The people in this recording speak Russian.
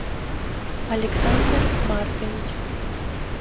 александр маркович